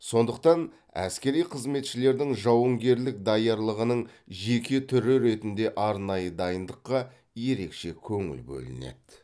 сондықтан әскери қызметшілердің жауынгерлік даярлығының жеке түрі ретінде арнайы дайындыққа ерекше көңіл бөлінеді